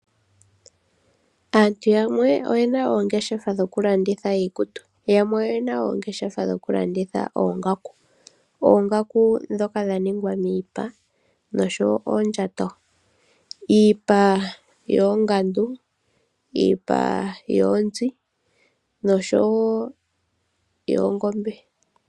Aantu yamwe oye na oongeshefa dhokulanditha iikutu, yamwe oye na oongeshefa dhokulanditha oongaku. Oongaku ndhoka dha ningwa miipa nosho wo oondjato; iipa yoongandu, iipa yoonzi nosho wo yoongombe.